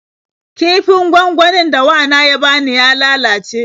Kifin gwangwanin da wana ya bani ya lalace.